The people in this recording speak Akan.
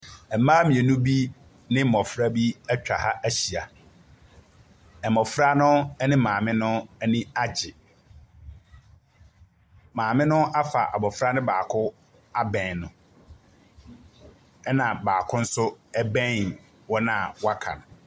Mmaa mmienu bi ne mmɔfra bi atwa ha ahyia. Mmɔfra no ne maame no ani agye. Maame no afa abɔfra no baako abɛn no. Ɛnna baako nso bɛn wɔn a wɔaka no.